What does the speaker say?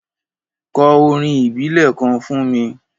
Kò órín ìbílè kàn fún mi